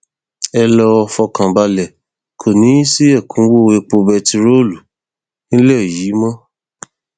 ẹ lọọ fọkàn balẹ kò ní í sí ẹkúnwọ epo bẹntiróòlù nílẹ yìí mọ